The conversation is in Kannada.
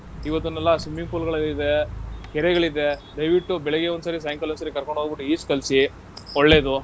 ಇವತ್ತನ್ನೆಲ್ಲ swimming pool ಗಳಿದೆ, ಕೆರೆಗಳಿದೆ, ದಯ್ವಿಟ್ಟು ಬೆಳಿಗ್ಗೆ ಒಂದ್ಸರಿ, ಸಾಯಂಕಾಲ ಒಂದ್ಸರಿ ಕರ್ಕೊಂಡ್ ಹೋಗ್ಬಿಟ್ ಈಜ್ ಕಲ್ಸಿ, ಒಳ್ಳೇದು.